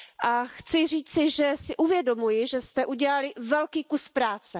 A chci říci, že si uvědomuji, že jste udělali velký kus práce.